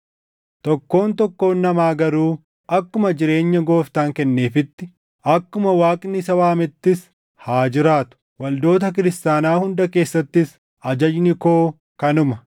Tokkoon tokkoon namaa garuu akkuma jireenya Gooftaan kenneefiitti, akkuma Waaqni isa waamettis haa jiraatu. Waldoota Kiristaanaa hunda keessattis ajajni koo kanuma.